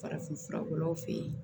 Farafinfuraw fe ye